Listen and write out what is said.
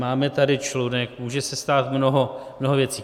Máme tady člunek, může se stát mnoho věcí.